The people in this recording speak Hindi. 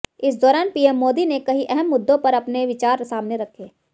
इस दौरान पीएम मोदी ने कई अहम मुद्दों पर अपने विचार सामने रखे